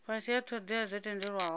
fhasi ha thodea dzo tendelwaho